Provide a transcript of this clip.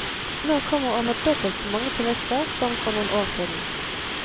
Nå kommer over dobbelt så mange turister som for noen år siden.